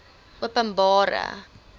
openbare